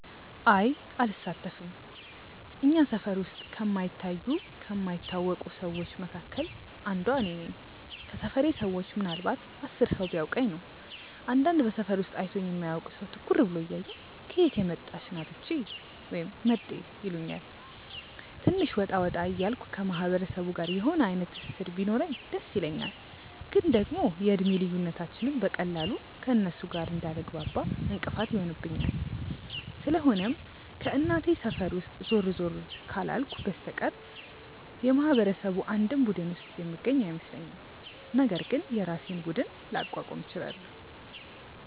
አይ አልሳተፍም። እኛ ሰፈር ውስጥ ከማይታዩ ከማይታወቁ ሰዎች መካከል አንዷ እኔ ነኝ። ከሰፈሬ ሰዎች ምናልንባት 10 ሰው ቢያውቀኝ ነው። አንዳንድ በሰፈሩ ውስጥ አይቶኝ የማያውቅ ሰው ትኩር ብሎ እያየኝ "ከየት የመጣች ናት እቺ?" ወይም "መጤ" ይሉኛል። ትንሽ ወጣ ወጣ እያልኩ ከማህበረሰቡ ጋር የሆነ አይነት ትስስር ቢኖረኝ ደስ ይለኛል፤ ግን ደግሞ የእድሜ ልዩነታችንም በቀላሉ ከእነርሱ ጋር እንዳልግባባ እንቅፋት ይሆንብኛል። ስለሆነም ከእናቴ ሰፈር ውስጥ ዞር ዞር ካላልኩ በስተቀር የማህበረሰቡ አንድም ቡድን ውስጥ የምገኝ አይመስለኝም፤ ነገር ግን የራሴን ቡድን ላቋቁም እችላለው።